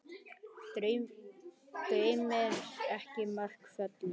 Dæmin eru miklu fleiri.